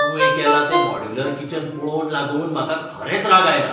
तुवें केलां तें मॉड्यूलर किचन पळोवन लागून म्हाका खरेंच राग आयला.